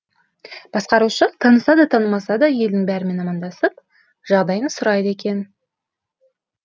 басқарушы таныса да танымаса да елдің бәрімен амандасып жағдайын сұрайды екен